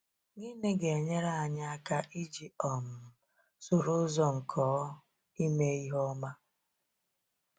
Gịnị ga-enyere anyị aka iji um soro ụzọ nke ọ ime ihe ọma?